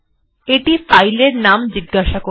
এটি ফাইল এর একটি নাম জিজ্ঞাসা করবে